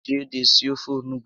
Eji ede esi ofe onugbu